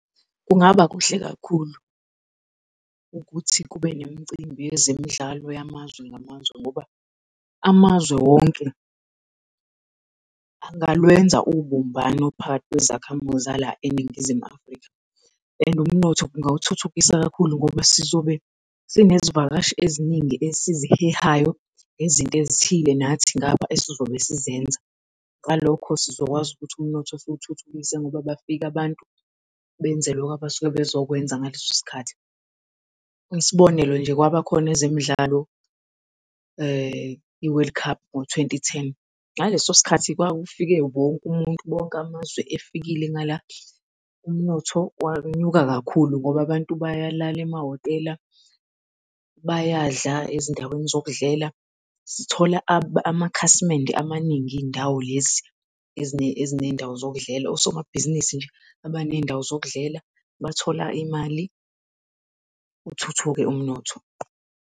Kungaba kuhle kakhulu ukuthi kube nemicimbi yezemidlalo yamazwe ngamazwe ngoba amazwe wonke angalwenza ubumbano phakathi kwezakhamuzi zala eNingizimu Afrika and umnotho ungawuthuthukisa kakhulu, ngoba sizobe sinezivakashi eziningi esizihehayo nezinto ezithile nathi ngapha esizobe sizenza. Ngalokho sizokwazi ukuthi umnotho siwuthuthukise ngoba bafike abantu benze loko abafike bezokwenza ngaleso sikhathi. Isibonelo nje kwabakhona ezemidlalo i-World Cup ngo-twenty ten. Ngaleso sikhathi kwakufike wonke umuntu, wonke amazwe efikile, ngala umnotho wanyuka kakhulu ngoba abantu bayalala emahhotela bayadla ezindaweni zokudlela, sithola amakhasimende amaningi izindawo lezi ezinezindawo zokudlela, osomabhizinisi nje abanezindawo zokudlela bathola imali, uthuthuke umnotho.